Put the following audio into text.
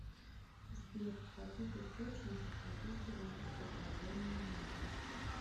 сбер в каких источниках описывается посажение на кол